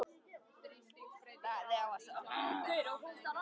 Hann fór fljótlega að gefa í skyn að ekki gæti þetta allt verið með felldu.